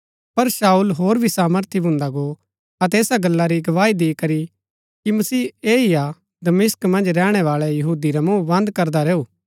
पर शाऊल होर भी सामर्थी भुन्दा गो अतै ऐसा गल्ला री गवाही दिकरी कि मसीह ऐह ही हा दमिश्क मन्ज रैहणैवाळै यहूदी रा मूँह बन्द करदा रैऊ